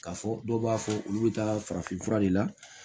K'a fɔ dɔw b'a fɔ olu bɛ taa farafinfura de la